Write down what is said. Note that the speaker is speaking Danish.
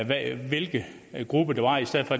af hvilke grupper det var i stedet for